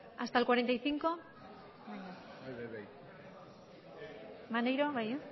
hasta el cuarenta y cinco maneiro bai